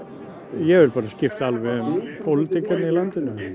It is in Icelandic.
ég vil bara skipta alveg um pólitíkina í landinu ég